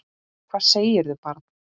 Hvað segirðu barn?